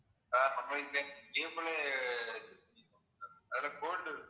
ஆஹ் நம்ப இந்த cable லே choose பண்ணிடலாம் sir அதுல gold